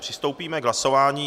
Přistoupíme k hlasování.